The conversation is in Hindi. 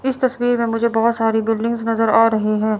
इस तस्वीर में मुझे बहुत सारी बिल्डिंग्स नजर आ रही हैं।